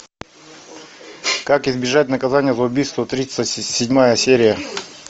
как избежать наказания за убийство тридцать седьмая серия